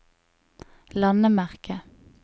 landemerke